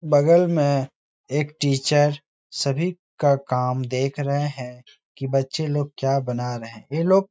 बगल में एक टीचर सभी का काम देख रहे हैं कि बच्चे लोग क्या बना रहे हैं। ये लोग --